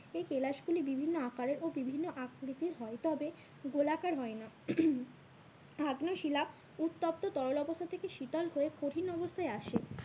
এই কেলাস গুলি বিভিন্ন আকারের ও বিভিন্ন আকৃতির হয় তবে গোলাকার হয় না আগ্নেয় শিলা উত্তপ্ত তরল অবস্থা থেকে শীতল হয়ে কঠিন অবস্থায় আসে